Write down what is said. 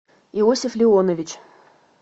иосиф леонович